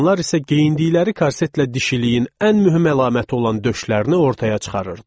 Qadınlar isə geyindikləri korsetlə dişiliyin ən mühüm əlaməti olan döşlərini ortaya çıxarırdılar.